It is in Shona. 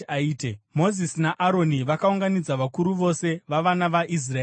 Mozisi naAroni vakaunganidza vakuru vose vavana vaIsraeri,